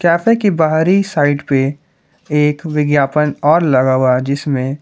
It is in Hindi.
कैफे के बाहरी साइड पे एक विज्ञापन और लगा हुआ है जिसमें--